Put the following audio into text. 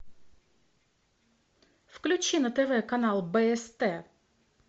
включи на тв канал бст